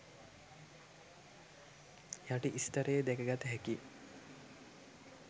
යටි ස්තරයේ දැක ගත හැකිය.